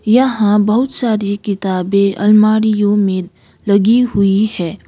यहां बहुत सारी किताबे अलमारीयो में लगी हुई है।